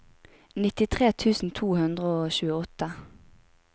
nittitre tusen to hundre og tjueåtte